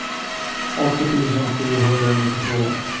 åttio tusen sjuhundranittiotvå